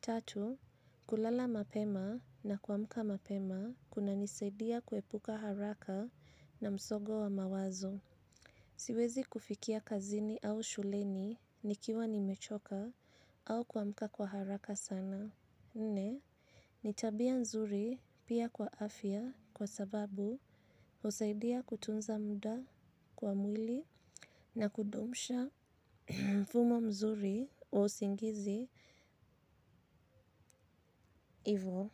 Tatu, kulala mapema na kwa muka mapema kuna nisaidia kuepuka haraka na msogo wa mawazo. Siwezi kufikia kazini au shuleni nikiwa nimechoka au kwa muka kwa haraka sana. Nne, nitabia nzuri pia kwa afya kwa sababu usaidia kutunza mda kwa mwili na kudumisha mfumo mzuri wa usingizi ivo.